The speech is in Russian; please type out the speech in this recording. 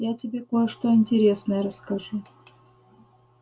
я тебе кое-что интересное расскажу